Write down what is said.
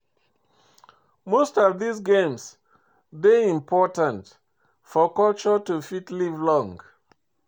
Most of dis games dey important for culture to fit live long